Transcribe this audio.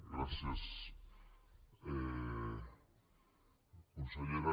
gràcies consellera